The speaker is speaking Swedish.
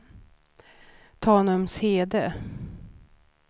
Tanumshede